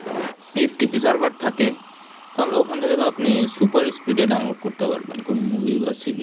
FTTPserver থাকে তাহলে ওখান থেকে তো আপনি super speed download করতে পারবেন কোন movie বা series